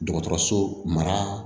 Dɔgɔtɔrɔso mara